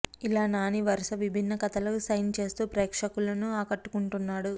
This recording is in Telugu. ఇలా నాని వరుస విభిన్న కథలకు సైన్ చేస్తూ ప్రేక్షకులను ఆకట్టుకుంటున్నాడు